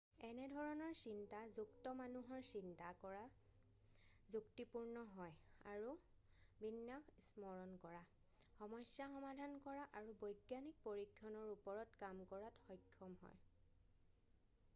এনে ধৰণৰ চিন্তা যুক্ত মানুহৰ চিন্তা যুক্তিপূৰ্ণ হয় আৰু বিন্যাস স্মৰণ কৰা সমস্যা সমাধান কৰা আৰু বৈজ্ঞানিক পৰীক্ষণৰ ওপৰত কাম কৰাত সক্ষম হয়